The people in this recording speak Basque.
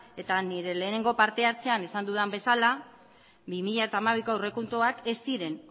eta nire lehenengo parte hartzean esan dudan bezala bi mila hamabiko aurrekontuak ez ziren